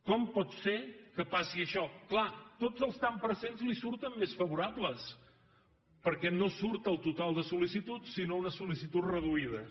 com pot ser que passi això clar tots els tants per cent li surten més favorables perquè no surt el total de sollicitud sinó unes sol·licituds reduïdes